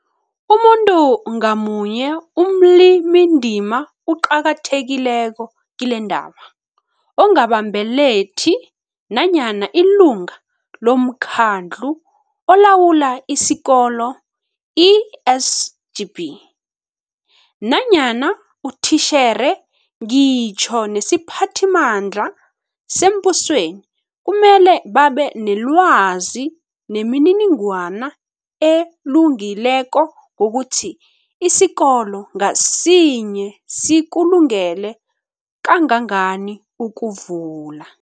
Umuntu ngamunye omlimindima oqakathekileko kilendaba, ongabambelethi nanyana ilunga lomKhandlu oLawula isi Kolo, i-SGB, nanyana utitjhere ngitjho nesiphathimandla sembusweni kumele babe nelwazi nemininingwana elungileko ngokuthi isikolo ngasinye sikulungele kangangani ukuvula.